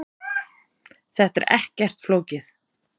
Þetta er ekkert flókið.